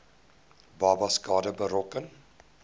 babas skade berokken